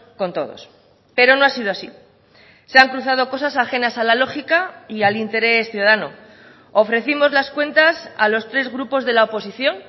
con todos pero no ha sido así se han cruzado cosas ajenas a la lógica y al interés ciudadano ofrecimos las cuentas a los tres grupos de la oposición